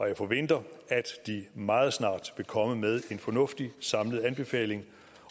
jeg forventer at de meget snart vil komme med en fornuftig samlet anbefaling